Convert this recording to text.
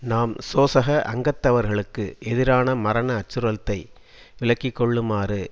நாம் சோசக அங்கத்தவர்களுக்கு எதிரான மரண அச்சுறுத்தலை விலக்கிக்கொள்ளுமாறு